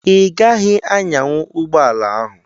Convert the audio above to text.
Ị gaghị anyanwu ụgbọala ahụ!